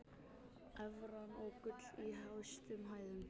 Evran og gull í hæstu hæðum